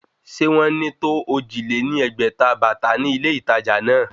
Sé wọ́n ní tó ojì lé ní ẹgbẹ́ta bàtà ní ilé ìtàjà náà?